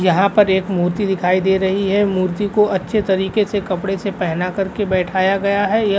यहाँ पर एक मूर्ति दिखाई दे रही है। मूर्ति को अच्छे तरीके से कपड़े से पहना के बैठाया गया है। यह --